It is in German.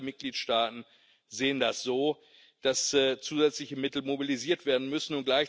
Aber nicht alle Mitgliedstaaten sehen das so, dass zusätzliche Mittel mobilisiert werden müssen.